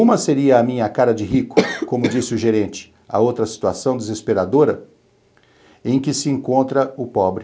Uma seria a minha cara de rico, como disse o gerente, a outra situação desesperadora em que se encontra o pobre.